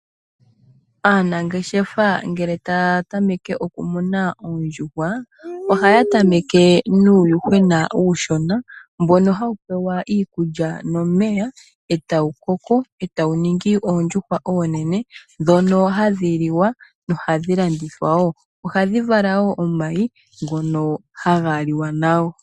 Aanangeshefa uuna taya tameke okumuna oondjuhwa ohaya tameke nuuyuhwena uushona mboka hawu pewa iikutya nomeya e tawu koko, e tawu ningi oondjuhwa oonene ndhono hadhi liwa nohadhi landithwa wo, ohadhi vala omayi ngono haga liwa nago.